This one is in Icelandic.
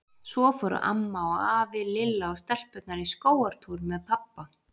Svo fóru amma og afi, Lilla og stelpurnar í skógartúr með pabba.